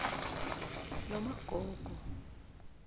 nomagogo